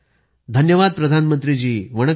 पोन मरियप्पनः धन्यवाद प्रधानमंत्री जी